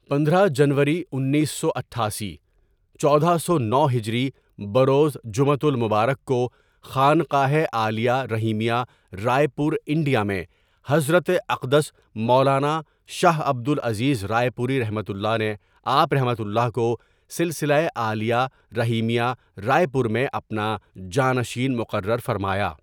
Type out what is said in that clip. پندرہ ؍ جنوری انیس سو اٹھاسی، چودہ سو نو ہجری بروز جمعۃ المبارک کو خانقاہِ عالیہ رحیمیہ رائے پور انڈیا میں حضرت اقدس مولانا شاہ عبد العزیز رائے پوریؒ نے آپؒ کو سلسلۂ عالیہ رحیمیہ رائے پور میں اپنا جانشین مقرر فرمایا.